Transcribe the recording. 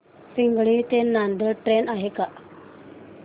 पिंगळी ते नांदेड ट्रेन आहे का